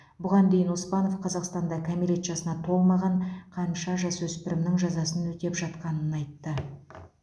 бұған дейін оспанов қазақстанда кәмелет жасына толмаған қанша жасөспірімнің жазасын өтеп жатқанын айтты